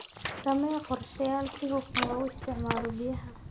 Samee qorsheyaal si hufan loogu isticmaalo biyaha.